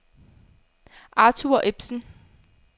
Arthur Ebsen